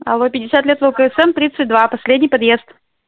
алло пятьдесят лет влксм тридцать два последний подъезд